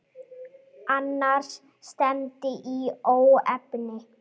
Annars stefndi í óefni.